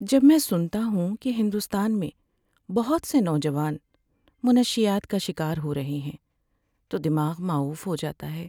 جب میں سنتا ہوں کہ ہندوستان میں بہت سے نوجوان منشیات کا شکار ہو رہے ہیں تو دماغ ماؤف ہو جاتا ہے۔